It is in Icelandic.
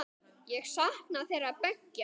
Ég sakna þeirra beggja.